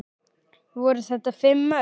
Voru þetta fimm mörk?